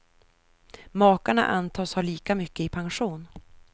Makarna antas ha lika mycket i pension.